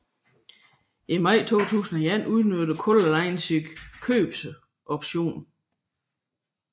I maj 2001 udnyttede Color Line sin købsoption